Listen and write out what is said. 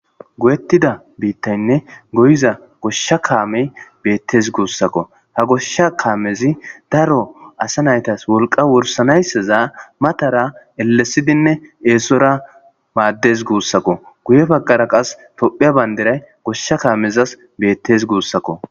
goyettida biittaynne goyiza goshsha kaamey beettes guussakko ha goshsha kaamezi daro asa naytas wolqa worsanaysseza matara ellesidinne eesora maaddes guussakko guye baggara qas topheya bayndiray goshsha kaamezas beettes guussakko